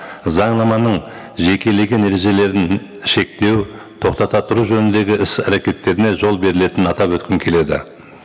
заңнаманың жекелеген ережелерін шектеу тоқтата тұру жөніндегі іс әрекеттеріне жол берілетінін атап өткім келеді